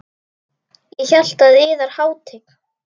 Ég hélt að yðar hátign.